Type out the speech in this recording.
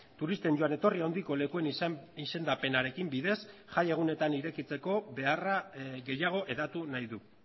turisten joan etorri handiko lekuen izendapenarekin bidez jai egunetan irekitzeko beharra gehiago hedatu nahi du